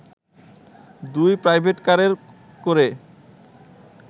দুটি প্রাইভেটকারে করে